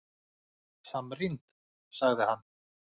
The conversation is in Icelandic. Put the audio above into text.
Samrýnd, sagði hann!